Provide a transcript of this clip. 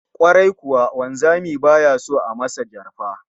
Kwarai kuwa, wanzami baya son a masa jarfa